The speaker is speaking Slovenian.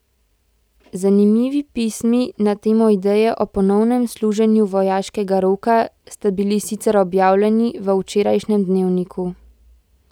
Zanimivi pismi na temo ideje o ponovnem služenju vojaškega roka sta bili sicer objavljeni v včerajšnjem Dnevniku.